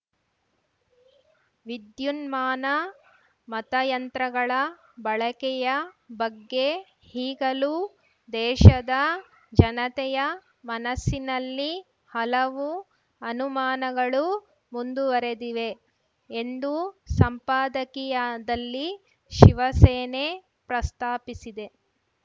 ವಿದ್ಯುನ್ಮಾನ ಮತಯಂತ್ರಗಳ ಬಳಕೆಯ ಬಗ್ಗೆ ಈಗಲೂ ದೇಶದ ಜನತೆಯ ಮನಸ್ಸಿನಲ್ಲಿ ಹಲವು ಅನುಮಾನಗಳು ಮುಂದುವರೆದಿವೆ ಎಂದು ಸಂಪಾದಕೀಯದಲ್ಲಿ ಶಿವಸೇನೆ ಪ್ರಸ್ತಾಪಿಸಿದೆ